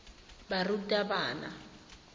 barutabana